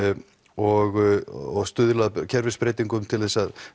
og stuðla að kerfisbreytingum til þess að